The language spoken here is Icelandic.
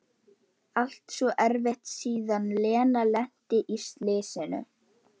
Allt svo erfitt síðan Lena lenti í slysinu.